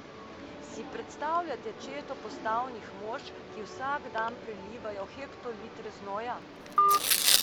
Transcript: Si predstavljate četo postavnih mož, ki vsak dan prelivajo hektolitre znoja?